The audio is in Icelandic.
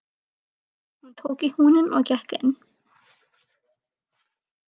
Hún tók í húninn og gekk inn.